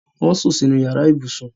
Wọ́n sùn sínú yàrá ibùsùn